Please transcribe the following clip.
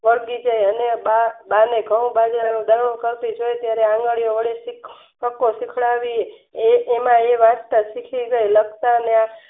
અને બા ને ઘાવ બાજરાના દવનું કરતી જોય હરવરતી એ પ્રમાણે વાંચતા શીખી ગયા લખાતાના